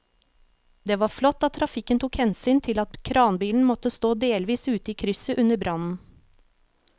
Det var flott at trafikken tok hensyn til at kranbilen måtte stå delvis ute i krysset under brannen.